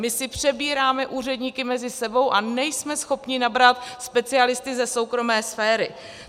My si přebíráme úředníky mezi sebou a nejsme schopni nabrat specialisty ze soukromé sféry.